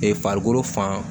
Ee farikolo fan